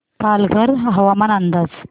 पालघर हवामान अंदाज